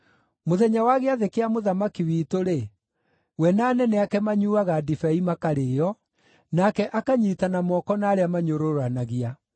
Mũthenya wa gĩathĩ kĩa mũthamaki witũ-rĩ, we na anene ake manyuuaga ndibei makarĩĩo, nake akanyiitana moko na arĩa manyũrũranagia.